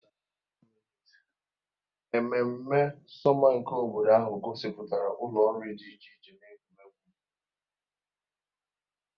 Ememme sọma nke obodo ahụ gosipụtara ụlọ nri dị iche iche na egwuregwu.